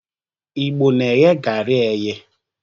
Igbo na-eghe garị eye.